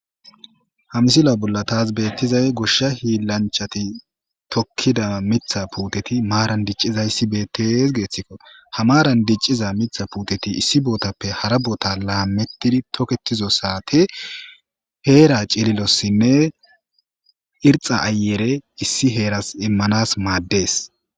ha misila bolla taas beettizay goshsha hiillanchati tokkida mitha puuteti maaran diccizayssi bettes geeththikko ha maran dicciza mitha puuteti issi bootappe hara boota laamettidi toketizo saate heera cililossinne irxa ayere issi heeras immanas maaddees